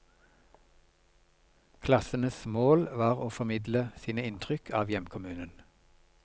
Klassenes mål var å formidle sine inntrykk av hjemkommunen.